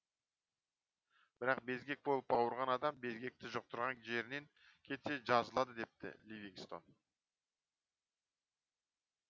бірақ безгек болып ауырған адам безгекті жұқтырған жерінен кетсе жазылады депті ливингстон